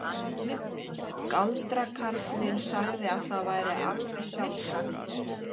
Galdrakarlinn sagði að það væri alveg sjálfsagt.